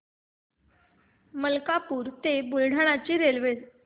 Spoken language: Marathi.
मलकापूर ते बुलढाणा ची रेल्वे